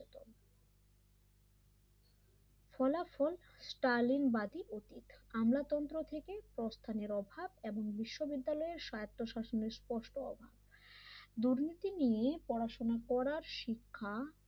ফলাফল স্টালিংবাদি অতীত আমলাতন্ত্র থেকে প্রস্থানের অভাব এবং বিশ্ববিদ্যালয়ের স্বার্থ শাসন এর স্পষ্ট অভাব দুর্নীতি নিয়ে পড়াশোনা করা শিক্ষা